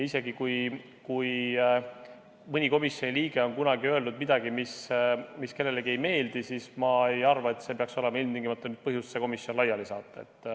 Ja kui mõni komisjoni liige on kunagi öelnud midagi, mis kellelegi ei meeldi, siis ma ei arva, et see peaks olema ilmtingimata põhjus komisjon laiali saata.